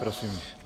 Prosím.